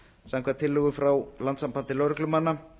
samkvæmt tillögu frá landssambandi lögreglumanna